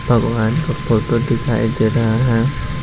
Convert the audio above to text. भगवान का फोटो दिखाई दे रहा है।